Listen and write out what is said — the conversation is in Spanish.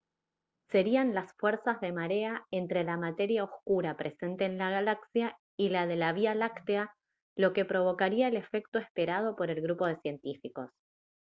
serían las fuerzas de marea entre la materia oscura presente en la galaxia y la de la vía láctea lo que provocaría el efecto esperado por el grupo de científicos